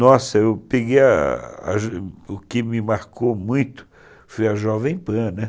Nossa, eu peguei o que me marcou muito foi a Jovem Pan, né?